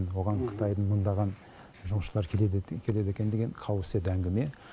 оған қытайдың мыңдаған жұмысшылары келеді екен деген қауесет әңгіме